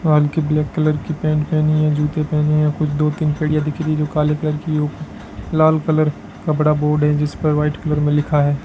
व हल्के blue colour की पैंट पहनी है जूते पहने है कुछ दो तीन कड़िया दिख रही है जो काले कलर की और लाल कलर का बड़ा बोर्ड है जिसपे व्हाइट कलर मे लिखा है।